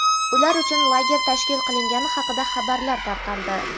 ular uchun lager tashkil qilingani haqida xabarlar tarqaldi.